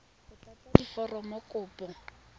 o tlatse diforomo tsa kopo